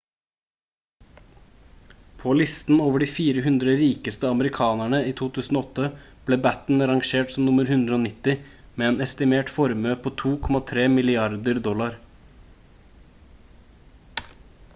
på listen over de 400 rikeste amerikanerne i 2008 ble batten rangert som nr 190 med en estimert formue på 2,3 milliarder dollar